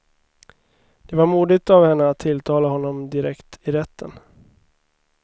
Det var modigt av henne att tilltala honom direkt i rätten.